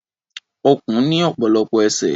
Ọ̀kùn ní ọ̀pọ̀lọpọ̀ ẹsẹ̀.